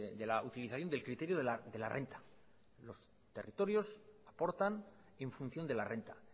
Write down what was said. de la utilización del criterio de la renta los territorios aportan en función de la renta